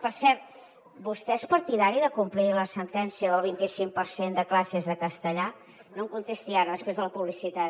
per cert vostè és partidari de complir la sentència del vint i cinc per cent de classes en castellà no em contesti ara després de la publicitat